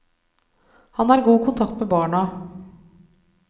Han har god kontakt med barna.